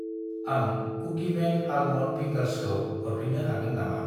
आं कुकिमेन आलमन्ड फिंगार्सखौ हरफिन्नो हागोन नामा?